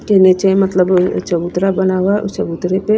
के नीचे मतलब चबूतरा बना हुआ और चबूतरे पे--